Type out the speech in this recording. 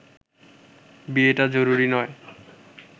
বিয়েটা জরুরি নয়